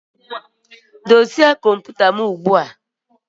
Dozie kọmputa m ugbu a!